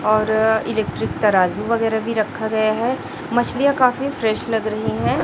और इलेक्ट्रिक तराजू वगैरह भी रखा गया है मछलियां काफी फ्रेश लग रही हैं।